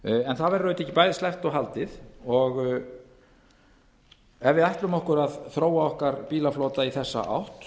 en það verður auðvitað ekki bæði sleppt og haldið ef við ætlum okkur að þróa okkar bílaflota í þessa átt